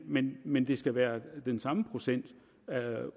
men men det skal være den samme procent